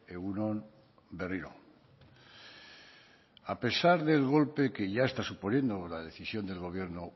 egun on berriro a pesar del golpe que ya está suponiendo la decisión del gobierno